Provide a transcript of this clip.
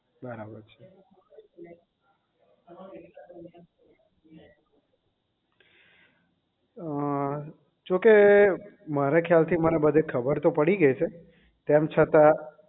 અ જોકે મારા ખ્યાલ થી મને બધી ખબર પડી ગયી છે તેમ છતાં